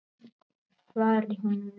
Fari hún vel.